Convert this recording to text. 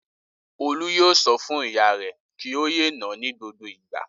Olú yóò sọ fún ìyá rẹ̀ kí ó yé nà á ní gbogbo ìgbà.